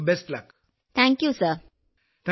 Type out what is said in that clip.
വിജയശാന്തി നന്ദി സർ